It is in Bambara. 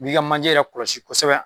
N'i ka manje yɛrɛ kɔlɔsi kosɛbɛ